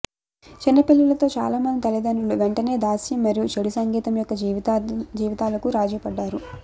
చిన్నపిల్లలతో చాలామంది తల్లిదండ్రులు వెంటనే దాస్యం మరియు చెడు సంగీతం యొక్క జీవితాలకు రాజీపడ్డారు